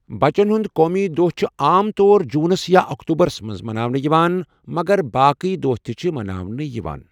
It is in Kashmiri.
بَچن ہُنٛد قومی دۄہ چُھ عام طور جوٗنس یا اکتوٗبَرس منٛز مَناونہٕ یِوان، مگر باقٕے دۄہ تہِ چھِ مَناونہٕ یِوان۔